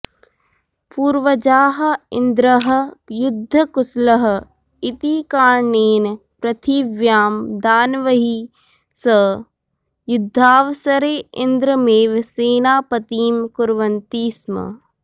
पूर्वजाः इन्द्रः युद्धकुशलः इति कारणेण प्रथिव्यां दानवैः सह युद्धावसरे इन्द्रमेव सेनापतिं कुर्वन्ति स्म